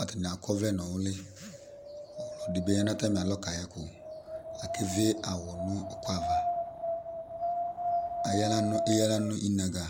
atani ak'ɔvlɛ n'ʋli, ɔlɔdi bi ya n'atami alo k'ayɛkʋ, akevie awʋ n'ʋkʋ ava, eyǝ aɣla nʋ inaga